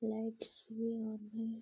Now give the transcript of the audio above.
Lights भी on हैं।